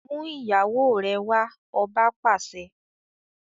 Mú ìyàwó rẹ wá! Ọba pàṣẹ.